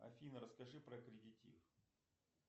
афина расскажи про кредитив